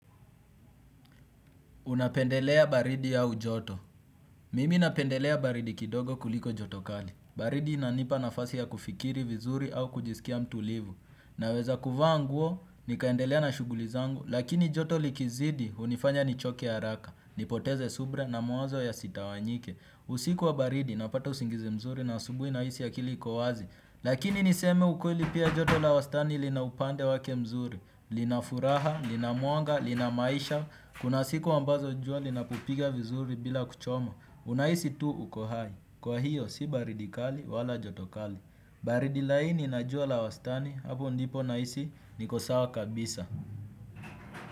Unapendelea baridi au joto. Mimi napendelea baridi kidogo kuliko joto kali. Baridi inanipa nafasi ya kufikiri vizuri au kujisikia mtulivu. Naweza kuvaa nguo, nikaendelea na shugulizangu, lakini joto likizidi hunifanya nichoke haraka, nipoteze subra na mawazo ya sitawanyike. Usiku wa baridi napata usingizi mzuri na asubui nahisi akili iko wazi. Lakini niseme ukweli pia joto la wastani lina upande wake mzuri. Lina furaha, lina mwanga, lina maisha. Kuna siku ambazo jua linakupiga vizuri bila kuchoma. Unahisi tu uko hai. Kwa hiyo si baridi kali wala joto kali. Baridi laini na jua la wastani hapo ndipo nahisi niko sawa kabisa.